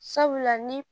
Sabula ni